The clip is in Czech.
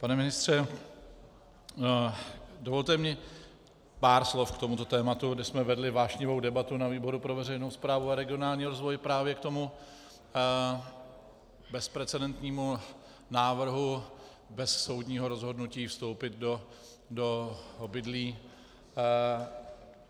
Pane ministře, dovolte mi pár slov k tomuto tématu, kde jsme vedli vášnivou debatu na výboru pro veřejnou správu a regionální rozvoj právě k tomu bezprecedentnímu návrhu, bez soudního rozhodnutí vstoupit do obydlí.